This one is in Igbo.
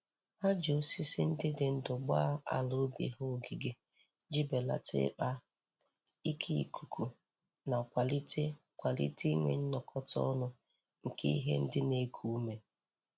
Ha ji osisi ndị dị ndụ gbaa ala ubi ha ogige ji belata ikpa ike ikuku ma kwalite kwalite inwe nnọkọta ọnụ nke ihe ndị na-eku ume.